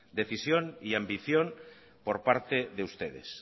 decisión y ambición por parte de ustedes